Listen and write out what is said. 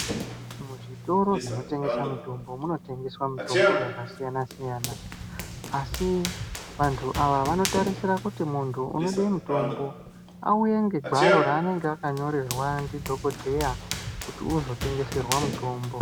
Muzvitoro zvinotengesa mitombo munotengeswa mitombo yakasiyana siyana asi vanthu ava vanotarisira kuti munthu unode mutombo auye ngegwaro raanenge akanyorerwa ndidhokodheya kuti uzotengeserwa mutombo.